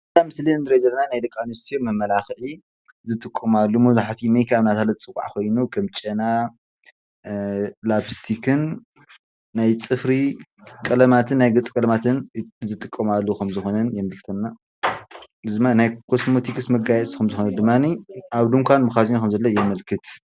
እዛ ምስሊ ንሪኦ ዘለና ናይ ደቂ ኣንስትዮ መመላኽዒ ዝጥቀማሉ መብዛሕቲኡ ሜክኣፕ ማለት ዩ ፅባቀ ኾይኑ ከም ጨና ላፕስቲክን ናይ ፅፍሪ ቀለማትን ናይ ገፅ ቀለማትን ዝጥቀማሉ ።